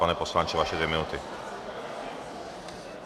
Pane poslanče, vaše dvě minuty.